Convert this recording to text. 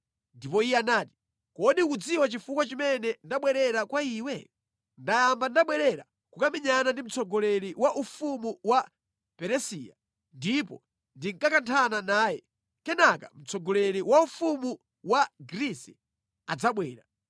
Ndipo iye anati, “Kodi ukudziwa chifukwa chimene ndabwerera kwa iwe? Ndiyamba ndabwerera kukamenyana ndi mtsogoleri wa ufumu wa Peresiya, ndipo ndikakanthana naye, kenaka mtsogoleri wa ufumu wa Grisi adzabwera.